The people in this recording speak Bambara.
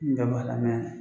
Nin bɛɛ b'a la